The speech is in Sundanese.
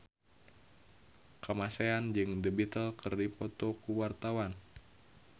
Kamasean jeung The Beatles keur dipoto ku wartawan